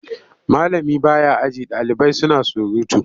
Malami ba ya aji ɗalibai suna surutu.